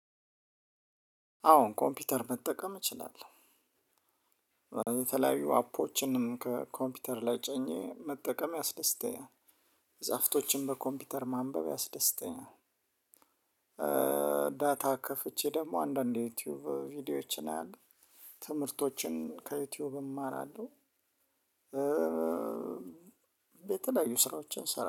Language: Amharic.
አዎ ኮምፒውተር መጠቀም እችላለሁ የተለያዩ አፖችንም ከኮምፒውተር ላይ ጭኘ መጠቀም ያስደስተኛል። መፅሀፍቶችን በኮምፒውተር ማንበብ ያስደስተኛል። ደግሞ አንዳንዴ ዩቲዩብ ቪዲዮዎችን አያለሁ። ትምህርቶችን ከዩቲዩብ እማራለሁ። የተለያዩ ስራዎችን እሰራለሁ